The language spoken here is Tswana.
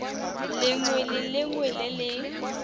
lengwe le lengwe le le